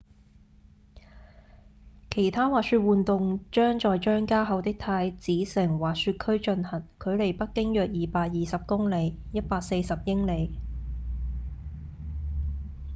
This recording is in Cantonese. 其他滑雪活動將在張家口的太子城滑雪區進行距離北京約220公里140英里